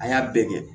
A y'a bɛɛ kɛ